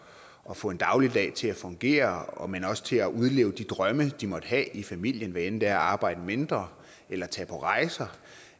at få en dagligdag til at fungere men også til at udleve de drømme de måtte have i familien hvad enten det er at arbejde mindre eller tage på rejser